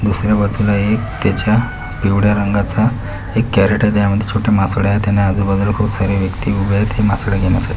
दुसरी बाजूला एक त्याच्या पिवळी रंगाचा एक कॅरेट आहे त्या मध्ये छोटी मासडे आहेत आणि आजूबाजूला खूप सारी व्यक्ति उभे आहेत ही मासड घेण्या --